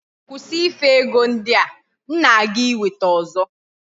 Kwusi ife ego ndi a! M na-aga iweta ozo.